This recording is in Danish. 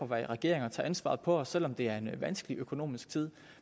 være i regering og tage ansvaret på os selv om det er en vanskelig økonomisk tid